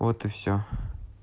вот и всё